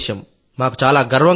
మాకు చాలా గర్వంగా ఉంది